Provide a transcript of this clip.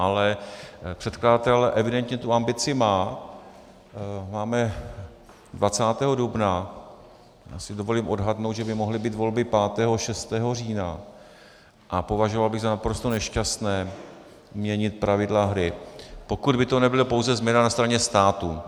Ale předkladatel evidentně tu ambici má, máme 20. dubna, já si dovolím odhadnout, že by mohly být volby 5. a 6. října, a považoval bych za naprosto nešťastné měnit pravidla hry, pokud by to nebyla pouze změna na straně státu.